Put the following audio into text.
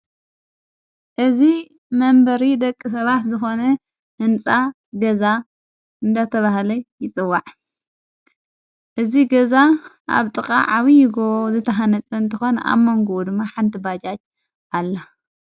እዝ መንበሪ ደቂ ሰባት ዝኾነ እንጻ ገዛ እንዳተብሃለይ ይጽዋዕ እዝ ገዛ ኣብ ጥቓ ዓብዪጐ ዘተሓነፅ እንተኾነ ኣብ መንጎዎ ድማ ሓንቲ ባጃጅ ኣለ።